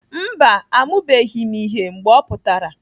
Mba, amụbeghị m ihe mgbe ọ pụtara.